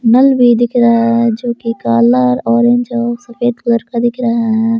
नल भी दिख रहा है जो की काला ऑरेंज और सफेद कलर का दिख रहा है।